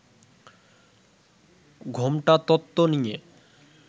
'ঘোমটা তত্ত্ব' নিয়ে